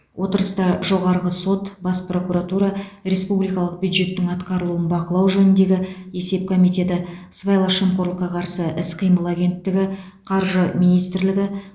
отырыста жоғарғы сот бас прокуратура республикалық бюджеттің атқарылуын бақылау жөніндегі есеп комитеті сыбайлас жемқорлыққа қарсы іс қимыл агенттігі қаржы министрлігі